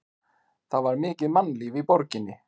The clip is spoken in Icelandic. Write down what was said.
Það var mikið mannlíf í borginni.